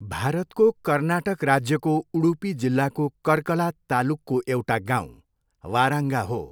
भारतको कर्नाटक राज्यको उडुपी जिल्लाको कर्कला तालुकको एउटा गाउँ वाराङ्गा हो।